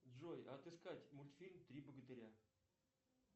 джой отыскать мультфильм три богатыря